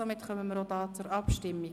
Somit kommen wir zur Abstimmung.